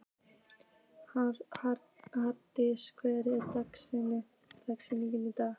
Halldís, hver er dagsetningin í dag?